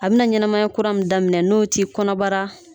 A bi na ɲɛnɛmaya kura min daminɛ n'o t'i kɔnɔbara